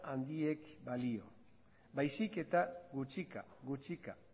handiek balio baizik eta gutxika gutxika